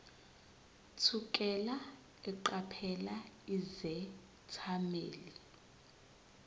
thukela eqaphela izethameli